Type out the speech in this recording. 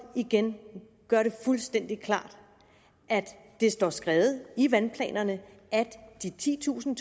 igen gøre det fuldstændig klart at det står skrevet i vandplanerne at de titusind